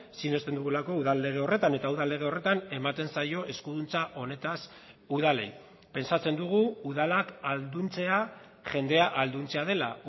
sinesten dugulako udal lege horretan eta udal lege horretan ematen zaio eskuduntza honetaz udalei pentsatzen dugu udalak ahalduntzea jendea ahalduntzea dela